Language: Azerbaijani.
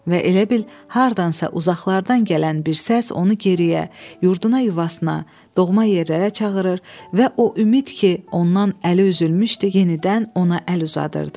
Və elə bil hardansa uzaqlardan gələn bir səs onu geriyə, yurduna yuvasına, doğma yerlərə çağırır və o ümid ki, ondan əli üzülmüşdü, yenidən ona əl uzadırdı.